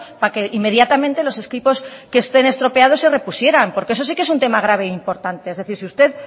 para que inmediatamente los equipos que estén estropeados se repusieran porque eso sí que es un tema grave e importante es decir si usted